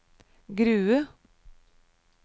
Grue